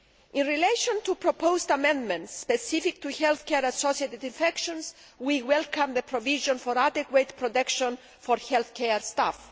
In relation to proposed amendments specific to health care associated infections, we welcome the provision for adequate protection for health care staff.